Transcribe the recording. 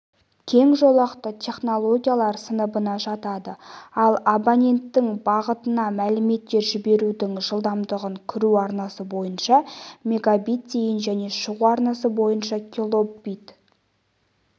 кең жолақты технологиялар сыныбына жатады ол абоненттің бағытына мәліметтер жіберудің жылдамдығын кіру арнасы бойынша мегабит дейін және шығу арнасы бойынша килобит